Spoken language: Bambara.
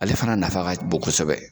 Ale fana nafa ka bon kosɛbɛ.